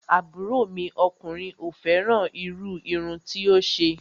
Àbúrò mi ọkùnrin ò fẹ́ràn irú irun tí ó ṣe